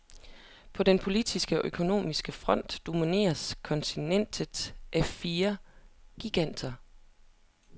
På den politiske og økonomiske front domineres kontinentet af fire giganter.